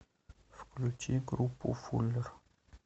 включи группу фуллер